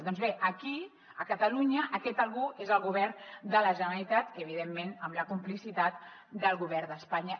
doncs bé aquí a catalunya aquest algú és el govern de la generalitat evidentment amb la complicitat del govern d’espanya